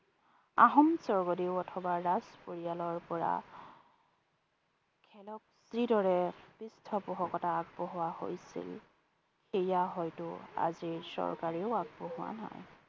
আহোম স্বৰ্গদেৱ অথবা ৰাজ পৰিয়ালৰ পৰা খেলক যি দৰে পৃষ্ঠপোষকতা আগবঢ়োৱা হৈছিল সেইয়া হয়তো আজিৰ চৰকাৰেও আগবঢ়োৱা নাই।